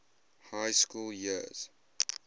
high school years